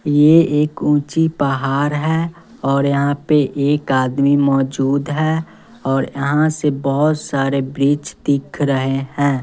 यह एक ऊंची पहाड़ है और यहां पे एक आदमी मौजूद है और यहां से बहुत सारे ब्रिज दिख रहे हैं।